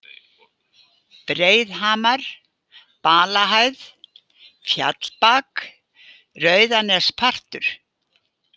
Breiðhamar, Balahæð, Fjallbak, Rauðanespartur